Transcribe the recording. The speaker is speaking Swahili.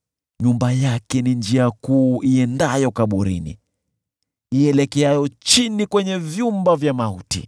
Nyumba yake ni njia kuu iendayo kaburini, ielekeayo chini kwenye vyumba vya mauti.